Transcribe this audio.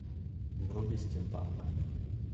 вруби стимпанк